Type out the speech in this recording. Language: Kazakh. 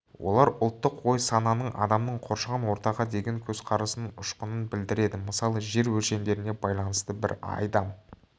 олар ұлттық ой-сананың адамның қоршаған ортаға деген көзқарасының ұшқынын білдіреді мысалы жер өлшемдеріне байланысты бір айдам